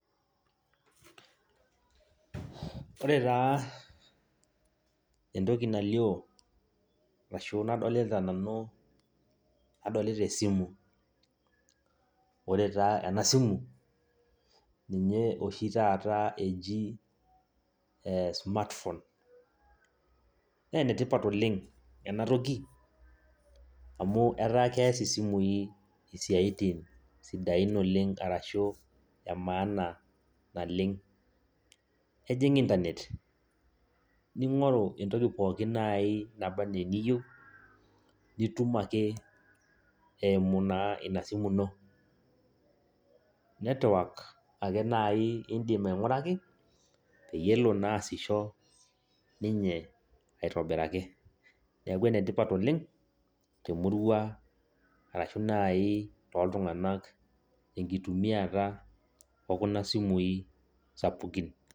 Ore taa entoki nalio ashu nadolita nanu, nadolita esimu. Ore taa enasimu, ninye oshi taata eji smartphone. Nenetipat oleng enatoki, amu etaa kees isimui isiaitin sidain oleng arashu emaana naleng. Ejing' Internet, ning'oru entoki pookin nai naba enaa eniyieu, nitum ake eimu naa inasimu ino. Netwak ake nai idim aing'uraki, peyie ele naa aasisho ninye aitobiraki. Neeku enetipat oleng, temurua arashu nai toltung'anak tenkitumiata okuna simui sapukin.